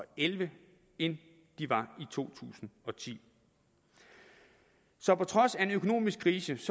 elleve end de var i to tusind og ti så på trods af en økonomisk krise